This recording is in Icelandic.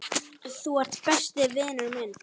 Þú ert besti vinur minn.